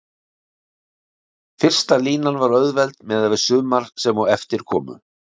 Fyrsta línan var auðveld miðað við sumar sem á eftir komu.